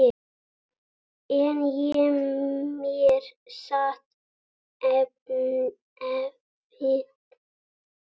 En í mér sat efinn.